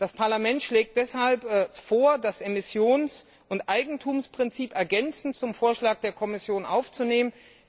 Das Parlament schlägt deshalb vor, das Emissions und Eigentumsprinzip ergänzend zum Vorschlag der Kommission aufzunehmen.